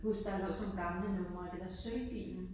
Huske der lå sådan nogle gamle numre af det der Sølvpilen